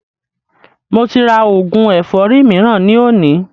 Mo ti rà oògùn ẹ̀fọ́rì mìíràn ni òní